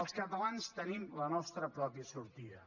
els catalans tenim la nostra pròpia sortida